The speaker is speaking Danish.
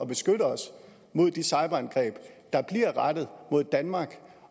beskytte os mod de cyberangreb der bliver rettet mod danmark